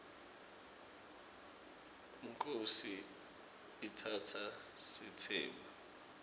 inkhosi itsatsa sitsembu